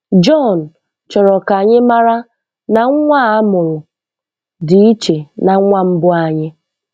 John chọrọ ka anyị mara na nwa a mụrụ dị iche na nwa mbụ anyị.